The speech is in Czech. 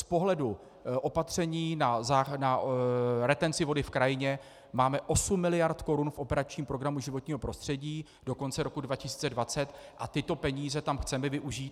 Z pohledu opatření na retenci vody v krajině máme 8 miliard korun v operačním programu Životní prostředí do konce roku 2020 a tyto peníze tam chceme využít.